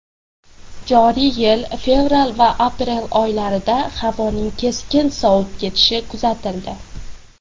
Joriy yil fevral va aprel oylarida havoning keskin sovib ketishi kuzatildi.